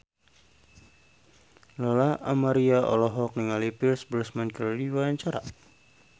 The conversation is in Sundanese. Lola Amaria olohok ningali Pierce Brosnan keur diwawancara